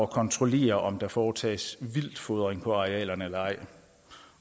kontrollere om der foretages vildtfodring på arealerne eller ej